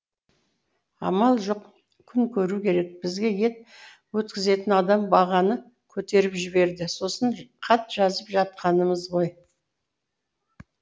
амал жоқ күн көру керек бізге ет өткізетін адам бағаны көтеріп жіберді сосын хат жазып жатқанымыз ғой